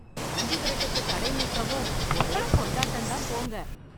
மஞ்சுவிரட்டுக்கு தடை நீக்கவும் ஒரே கொண்டாட்டம் தான் போங்க.